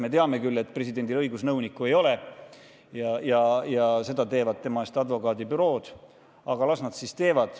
Me teame küll, et presidendil õigusnõunikku ei ole ja seda tööd teevad tema eest advokaadibürood, aga las nad siis teevad.